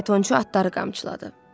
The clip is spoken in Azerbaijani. Faytonçu atları qamçıladı.